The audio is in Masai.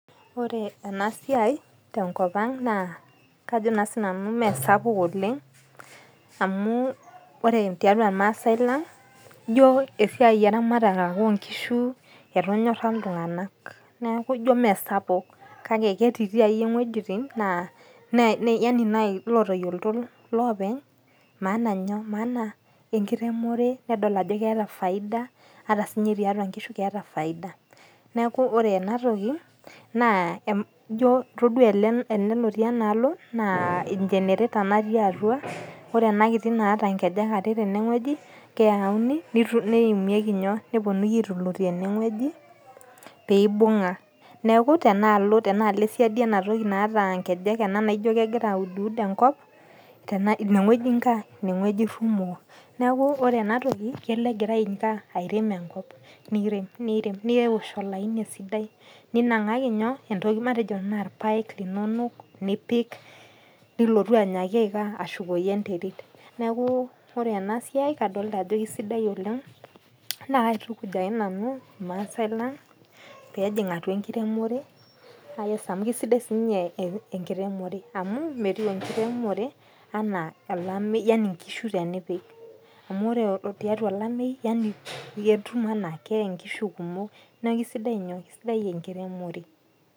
Ore enasiai tenkop ang naa, kajo naa sinanu mesapuk oleng, amu ore tiatua irmaasai lang, ijo esiai eramatare ake onkishu etonyorra iltung'anak. Neeku ijo mesapuk kake, ketitii akeyie ng'uejitin naa yani lotoyiolto lopeny maana nyoo, maana enkiremore, nedol ajo keeta faida ata sinye tiatua nkishu keeta faida. Neeku ore enatoki, naa ijo todua ele ele lotii enaalo, naa e generator natii atua, ore enakiti naata nkejek are tenewueji, keyauni neimieki nyoo, neponunui aitulutie enewoji, pibung'a. Neeku, tenaalo esiadi enatoki naata nkejek naijo kegira auduwud enkop, ineweji nko aah, ineweji irrumoo. Neeku ore enatoki kelo egira aikaa, airem enkop, nirem nirem newosh olaini esidai. Ninang'aki nyoo matejo enaa irpaek linonok nipik, nilotu ainyaaki aikaa, ashukoki enterit. Neeku ore enasiai, kadolta ajo kesidai oleng, na kaitukuj ake nanu irmaasai lang pejing' atua enkiremore, nakes amu kasidai sinye enkiremore. Amu, metiu enkiremore anaa alameu yani nkishu tenipik. Amu ore tiatua olameyu, yani iyie etum enaa keye nkishu kumok. Neku kesidai nyoo, kesidai enkiremore.